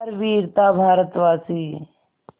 हर वीर था भारतवासी